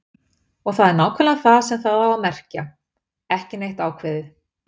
Og það er nákvæmlega það sem það á að merkja: ekki neitt ákveðið.